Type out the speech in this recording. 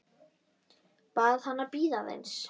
Bað hana að bíða aðeins.